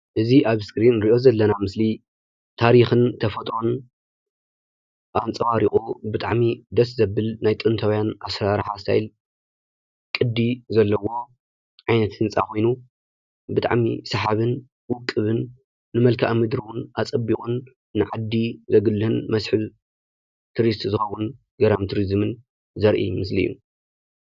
እዚ ኣብ እስክሪን ንሪኦ ዘለና ምስሊ ታሪኽን ተፈጥሮን ኣንፀባሪቑ ብጣዕሚ ደስ ዘብል ናይ ጥንታውያን ኣሰራርሓ ስታይል ቅዲ ዘለዎ ዓይነት ህንፃ ኾይኑ ብጣዕሚ ሰሓብን ውቁብን ንመልከኣ-ምድሪ ውን ኣፀቢቑን ንዓዲ ዘጉልህን መስሕብ ቱሪስት ዝኸውን ገራሚ ትሪዝምን ዘርኢ ምስሊ እዩ፡፡